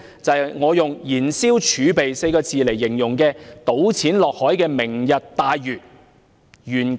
就是我以"燃燒儲備 "4 個字來形容，就是那個"倒錢落海"的"明日大嶼願景"計劃。